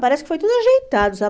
Parece que foi tudo ajeitado, sabe?